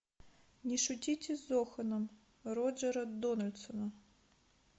не шутите с зоханом роджера дональдсона